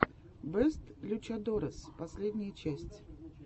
бэст лючадорес последняя часть